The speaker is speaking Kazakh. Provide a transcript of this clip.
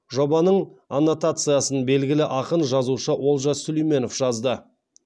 жобаның аннотациясын белгілі ақын жазушы олжас сүлейменов жазды